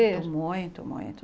muito, muito.